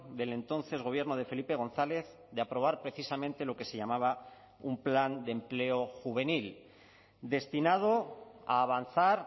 del entonces gobierno de felipe gonzález de aprobar precisamente lo que se llamaba un plan de empleo juvenil destinado a avanzar